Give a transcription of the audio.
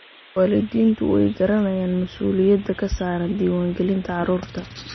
Waalidiintu way garanayaan mas'uuliyadda ka saaran diiwaangelinta carruurta.